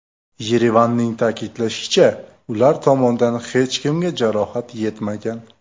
Yerevanning ta’kidlashicha, ular tomondan hech kimga jarohat yetmagan.